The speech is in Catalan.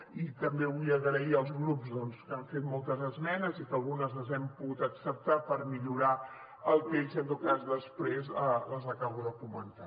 i també vull donar les gràcies als grups doncs que han fet moltes esmenes i algunes les hem pogut acceptar per millorar el text i en tot cas després les acabo de comentar